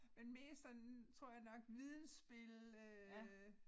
Men mest sådan tror jeg nok vidensspil øh